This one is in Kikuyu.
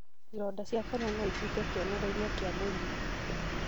Ironda cia kanua noituĩke kĩonereria kĩa mĩrimũ